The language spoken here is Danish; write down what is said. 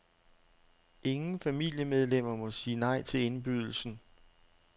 Ingen familiemedlemmer må sige nej til indbydelsen.